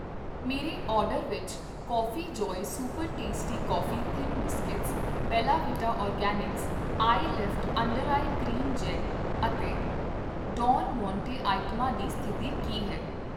ਮੇਰੇ ਆਰਡਰ ਵਿੱਚ Coffee Joy super tasty coffee thin biscuit, Bella Vita organic eye lift under eye cream gel ਅਤੇ Don Monte ਆਈਟਮਾਂ ਦੀ ਸਥਿਤੀ ਕੀ ਹੈ?